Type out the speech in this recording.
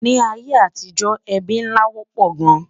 Nì ayé àtijó, ébí nlá wópò gán